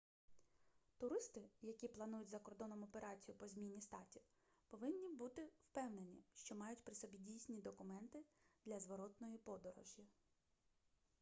туристи які планують за кордоном операцію по зміні статі повинні бути впевнені що мають при собі дійсні документи для зворотної подорожі